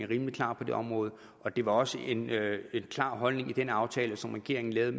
rimelig klar på det område det var også en klar holdning i den aftale som regeringen lavede